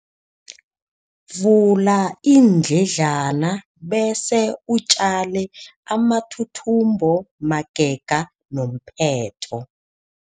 Vula iindledlana bese utjale amathuthumbo magega nomphetho.